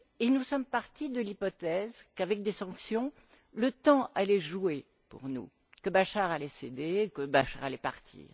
Nous sommes partis de l'hypothèse qu'avec des sanctions, le temps allait jouer pour nous, que Bachar allait céder, que Bachar allait partir.